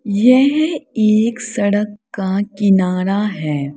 यह एक सड़क का किनारा है।